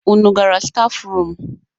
Unu gara stafrum?